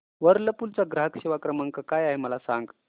Whirlpool चा ग्राहक सेवा क्रमांक काय आहे मला सांग